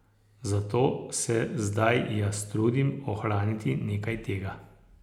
Zato se zdaj jaz trudim ohraniti nekaj tega.